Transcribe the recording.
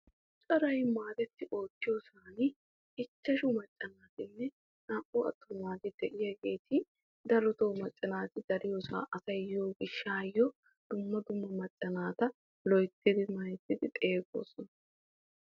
coray maadetti oottiyoosani ichchashu macca naatinne naa'u attumaageeti de'iyaageti darotoo macca naati dariyoosaa asay yiyo gishaayo dumma dumma macca naata loyttidi mayzzidi xeegoosona.